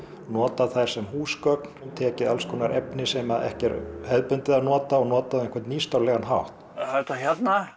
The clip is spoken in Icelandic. nota þær sem húsgögn hann tekið alls konar efni sem ekki er hefðbundið að nota og notað á einhvern nýstárlegan hátt þetta hérna